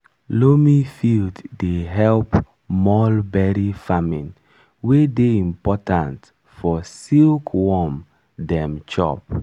loamy field dey help mulberry farming wey dey important for silkworm dem chop.